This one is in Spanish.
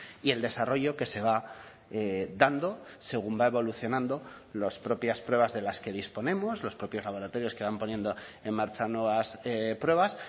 y el desarrollo que se va dando según va evolucionando las propias pruebas de las que disponemos los propios laboratorios que van poniendo en marcha nuevas pruebas